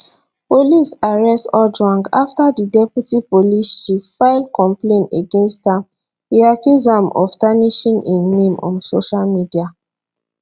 police arrest ojwang afta di deputy police chief file complain against am e accuse am of tarnishing im name on social media